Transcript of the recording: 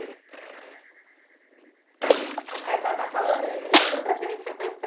Aí a senhora está falando, ele